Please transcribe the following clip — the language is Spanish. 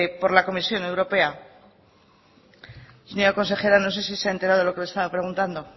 por la comisión europea señora consejera no sé si se ha enterado de lo que le estaba preguntando